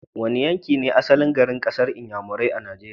Wane yanki ne asalin garin kasar Inyamurai a Nigeria?